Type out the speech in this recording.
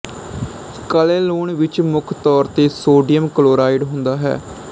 ਕਾਲੇ ਲੂਣ ਵਿੱਚ ਮੁੱਖ ਤੌਰ ਤੇ ਸੋਡੀਅਮ ਕਲੋਰਾਈਡ ਹੁੰਦਾ ਹੈ